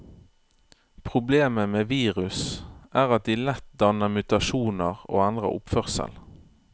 Problemet med virus er at de lett danner mutasjoner og endrer oppførsel.